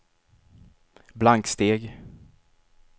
blanksteg